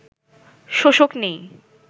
শোষক নেই